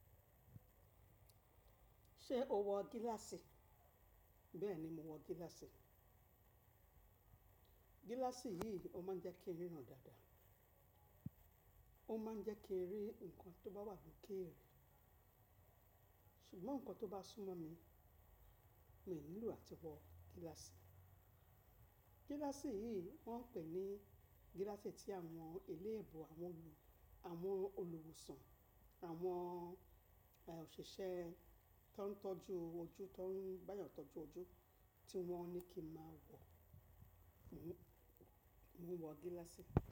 Ṣé o wọ gíláàsì? Bẹ́ẹ̀ni, mo wọ gíláàsì. Gíláàsì yìí ó ma ń jẹ́ kí ń ríran dáadáa, ó ma ń jẹ́ kí ń rí nnkan tó bá wà lokere, ṣùgbọ́n nnkan tó bá súnmọ́ mi, mi ò nílò àti wọ gíláàsì. Gíláàsì yìí wọ́n pè ní gíláàsì tí àwọn eléèbò àwọn olùwòsàn àwọn òṣìṣẹ́ tó ń tọ́jú ojú tó ń gbáyàn tọ́jú ojú tí wọ́n ní kí má wọ̀, mo wọ gíláàsì.